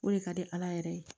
O de ka di ala yɛrɛ ye